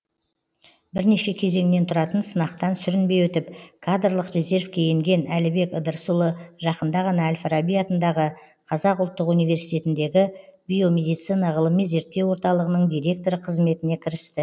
бірнеше кезеңнен тұратын сынақтан сүрінбей өтіп кадрлық резервке енген әлібек ыдырысұлы жақында ғана әл фараби атындағы қазақ ұлттық университетіндегі биомедицина ғылыми зерттеу орталығының директоры қызметіне кірісті